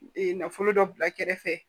Ee nafolo dɔ bila kɛrɛfɛ